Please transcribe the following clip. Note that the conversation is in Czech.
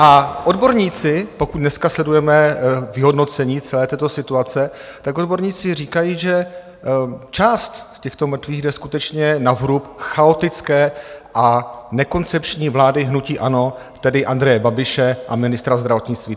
A odborníci, pokud dneska sledujeme vyhodnocení celé této situace, tak odborníci říkají, že část těchto mrtvých jde skutečně na vrub chaotické a nekoncepční vlády hnutí ANO, tedy Andreje Babiše a ministra zdravotnictví.